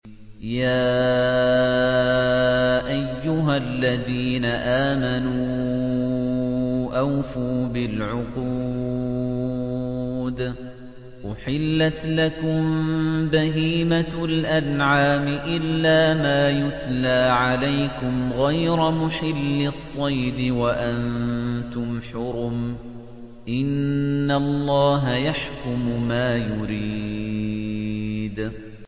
يَا أَيُّهَا الَّذِينَ آمَنُوا أَوْفُوا بِالْعُقُودِ ۚ أُحِلَّتْ لَكُم بَهِيمَةُ الْأَنْعَامِ إِلَّا مَا يُتْلَىٰ عَلَيْكُمْ غَيْرَ مُحِلِّي الصَّيْدِ وَأَنتُمْ حُرُمٌ ۗ إِنَّ اللَّهَ يَحْكُمُ مَا يُرِيدُ